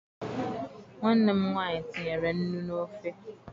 Nwanne m nwaanyị tinyere nnu n'ofe